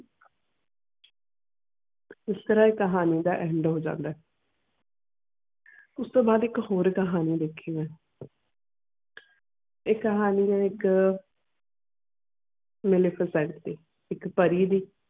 ਇਸਤਰਾਂ ਕਹਾਣੀ ਦਾ end ਹੋ ਜਾਂਦਾ ਉਸ ਤੂੰ ਬਾਅਦ ਇਕ ਹੋਰ ਕਹਾਣੀ ਲਿਖੀ ਨੇ ਇਹ ਕਹਾਣੀ ਇਕ ਬਿਲਕੁਲ ਸਜਦੀ ਇਕ ਪਾਰਿ ਦੀ.